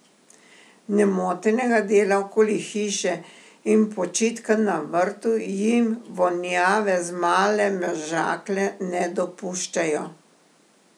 Nemotenega dela okoli hiše in počitka na vrtu jim vonjave z Male Mežakle ne dopuščajo.